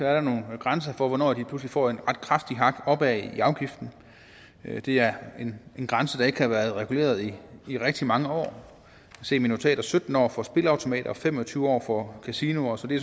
er der nogle grænser for hvornår de lige pludselig får et ret kraftigt hak opad i afgiften det er en grænse der ikke har været reguleret i rigtig mange år sytten år for spilleautomater og fem og tyve år for kasinoer så det